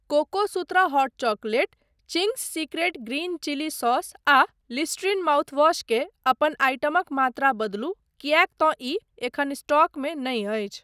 Cocosutra hot chocolate, Ching's secret green chilli sauce आ Listerine mouthwash के अपन आइटमक मात्रा बदलु किएक तँ ई एखन स्टॉकमे नहि अछि।